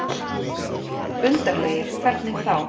Undarlegir. hvernig þá?